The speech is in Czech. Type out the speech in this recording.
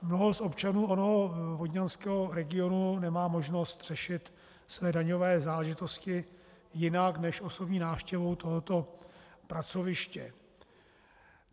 Mnoho z občanů onoho vodňanského regionu nemá možnost řešit své daňové záležitosti jinak než osobní návštěvou tohoto pracoviště.